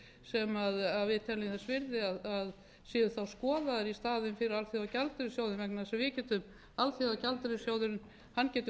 sem við teljum þess virði að séu þá skoðaðar í staðinn fyrir alþjóðagjaldeyrissjóðinn vegna þess að alþjóðagjaldeyrissjóðurinn getur farið ef